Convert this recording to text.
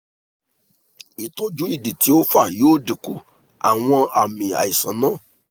itoju idi ti o fa yoo dinku awọn aami aisan naa